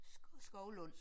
Skovlund